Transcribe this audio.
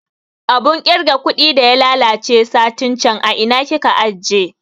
Abun kirga kuɗi da ya lalace satin can a ina kika ajiye?